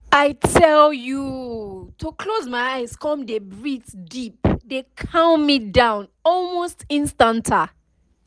i tell you to close my eyes come dey breathe deep dey calm me down almost instanta